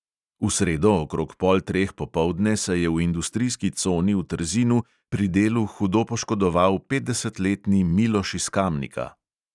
V sredo okrog pol treh popoldne se je v industrijski coni v trzinu pri delu hudo poškodoval petdesetletni miloš iz kamnika.